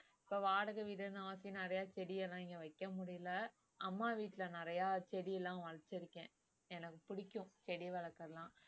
இப்ப வாடகை வீடுன்னு நிறைய செடி எல்லாம் இங்க வைக்க முடியலை அம்மா வீட்டுல நிறைய செடி எல்லாம் வளர்த்துருக்கேன் எனக்கு பிடிக்கும் செடி வளர்க்கிறதுலாம்